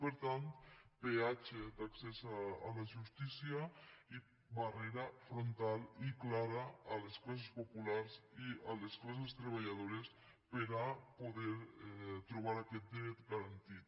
per tant peatge d’accés a la justícia i barrera frontal i clara a les classes populars i a les classes treballadores per a poder trobar aquest dret garantit